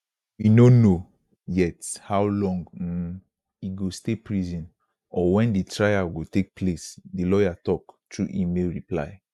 we no know yet how long um e go stay prison or wen di trial go take place di lawyer tok through email reply